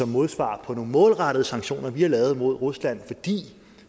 modsvar på nogle målrettede sanktioner vi har lavet mod rusland fordi